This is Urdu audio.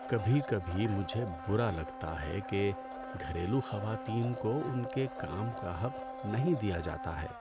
کبھی کبھی مجھے برا لگتا ہے کہ گھریلو خواتین کو ان کے کام کا حق نہیں دیا جاتا ہے۔